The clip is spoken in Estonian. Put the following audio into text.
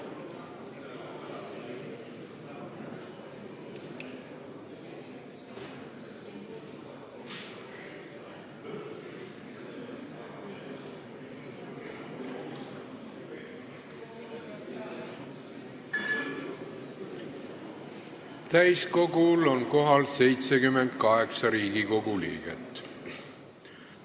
Kohaloleku kontroll Täiskogul on kohal 78 Riigikogu liiget.